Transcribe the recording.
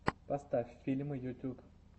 поставь фильмы ютуб